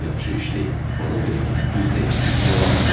Yaxşı iş deyil, ona görə ki, düz deyil, yalandır bu.